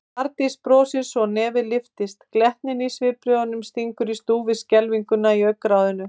Arndís brosir svo nefið lyftist, glettnin í svipbrigðunum stingur í stúf við skelfinguna í augnaráðinu.